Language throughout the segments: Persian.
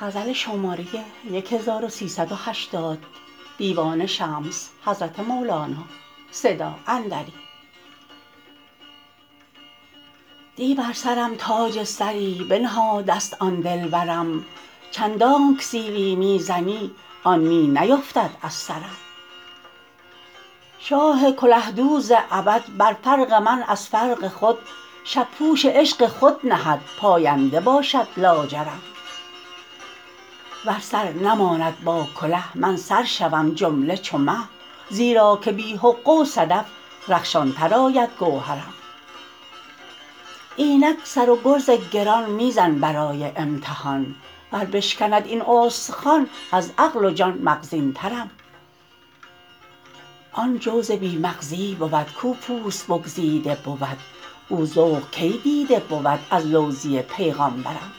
دی بر سرم تاج زری بنهاده است آن دلبرم چندانک سیلی می زنی آن می نیفتد از سرم شاه کله دوز ابد بر فرق من از فرق خود شب پوش عشق خود نهد پاینده باشد لاجرم ور سر نماند با کله من سر شوم جمله چو مه زیرا که بی حقه و صدف رخشانتر آید گوهرم اینک سر و گرز گران می زن برای امتحان ور بشکند این استخوان از عقل و جان مغزینترم آن جوز بی مغزی بود کو پوست بگزیده بود او ذوق کی دیده بود از لوزی پیغامبرم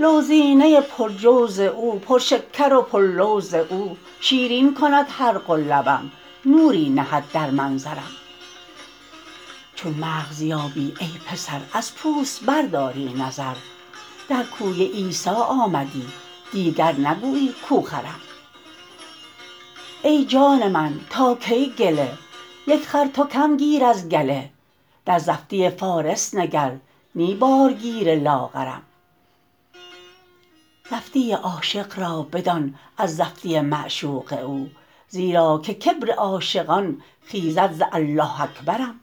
لوزینه پرجوز او پرشکر و پرلوز او شیرین کند حلق و لبم نوری نهد در منظرم چون مغز یابی ای پسر از پوست برداری نظر در کوی عیسی آمدی دیگر نگویی کو خرم ای جان من تا کی گله یک خر تو کم گیر از گله در زفتی فارس نگر نی بارگیر لاغرم زفتی عاشق را بدان از زفتی معشوق او زیرا که کبر عاشقان خیزد ز الله اکبرم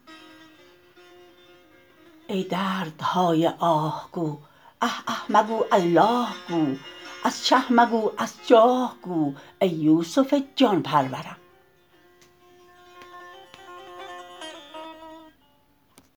ای دردهای آه گو اه اه مگو الله گو از چه مگو از جان گو ای یوسف جان پرورم